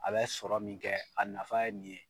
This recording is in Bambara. A bɛ sɔrɔ min kɛ a nafa ye nin ye.